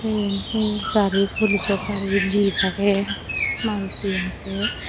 eyan hi gari polisjo gari jeep agey maruti agey.